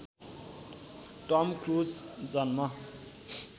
Tom Cruise जन्म